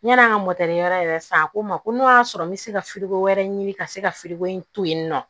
Yani an ka yɔrɔ yɛrɛ san a ko n ma ko n'o y'a sɔrɔ n bɛ se ka wɛrɛ ɲini ka se ka filiko in to yen nɔ